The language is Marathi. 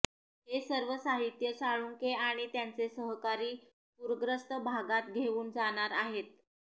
हे सर्व साहित्य साळुंखे आणि त्यांचे सहकारी पूरग्रस्त भागात घेऊन जाणार आहेत